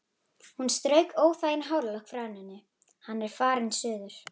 Hún strauk óþægan hárlokk frá enninu: Hann er farinn suður